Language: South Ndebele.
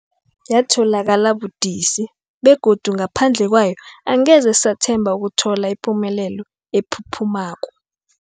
Yatholakala budisi, begodu ngaphandle kwayo angeze sathemba ukuthola ipumelelo ephuphumako.